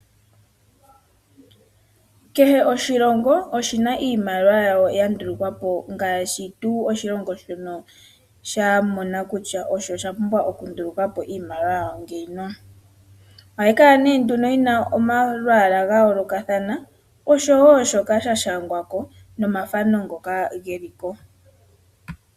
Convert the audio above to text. Kehe oshilongo oshina iimaliwa yawo ya ndulukwa po, ngaashi tuu oshilongo shono sha mona kutya osha pumbwa okunduluka po iimaliwa yawo ngino. Ohayi kala nee nduno yina omalwaala ga yoolokathana oshowo shoka sha shangwa ko, nomathano ngoka geli ko.